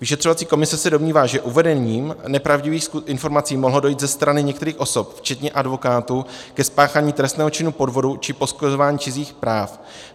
Vyšetřovací komise se domnívá, že uvedením nepravdivých informací mohlo dojít ze strany některých osob, včetně advokátů, ke spáchání trestného činu podvodu či poškozování cizích práv.